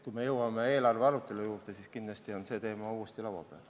Kui me jõuame eelarve arutelu juurde, siis kindlasti on see teema uuesti laua peal.